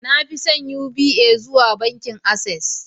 na fi son Uba zuwa bankin Access